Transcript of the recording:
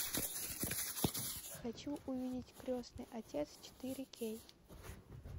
хочу увидеть крестный отец четыре кей